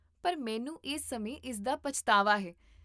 ਪਰ, ਮੈਨੂੰ ਇਸ ਸਮੇਂ ਇਸਦਾ ਪਛਤਾਵਾ ਹੈ